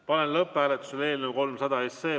Panen lõpphääletusele eelnõu 300.